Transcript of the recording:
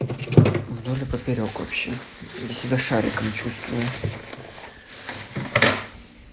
вдоль и поперёк вообще я себя шариками чувствую